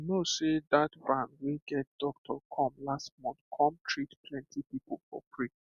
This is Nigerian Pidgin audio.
you know sey that van wey get doctor come last month come treat plenty people for free